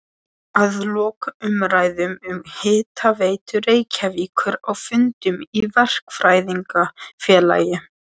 Að loknum umræðum um Hitaveitu Reykjavíkur á fundum í Verkfræðingafélagi